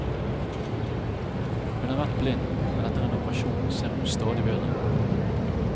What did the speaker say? Hun har vært blind, men etter en operasjon ser hun stadig bedre.